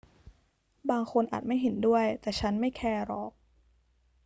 บางคนอาจไม่เห็นด้วย แต่ฉันไม่แคร์หรอก